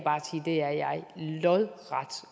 det er jeg lodret